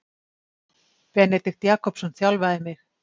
Benedikt Jakobsson þjálfaði mig.